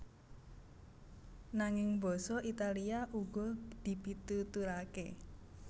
Nanging basa Italia uga dipituturaké